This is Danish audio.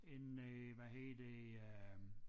En øh hvad hedder det øh